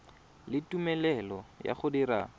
le tumelelo ya go dira